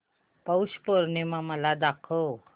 पौष पौर्णिमा मला दाखव